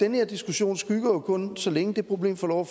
her diskussion skygger jo kun så længe det problem får lov